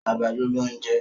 àgbàdo ló n jẹ.